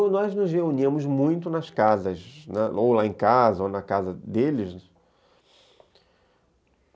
Olha, nós nos reuníamos muito nas casas, ou lá em casa, ou na casa deles.